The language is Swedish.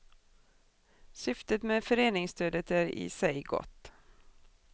Syftet med föreningsstödet är i sig gott.